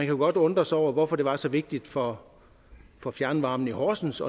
jo godt undre sig over hvorfor det var så vigtigt for for fjernvarmen i horsens